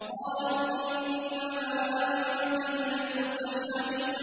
قَالُوا إِنَّمَا أَنتَ مِنَ الْمُسَحَّرِينَ